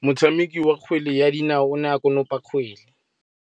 Motshameki wa kgwele ya dinaô o ne a konopa kgwele.